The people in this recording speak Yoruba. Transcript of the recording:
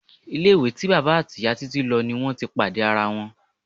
Ilé-ìwé tí bàbá àti ìyá Títí lo ni wọn ti pàdé ara wọn.